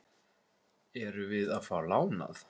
Erum við að fá lánað?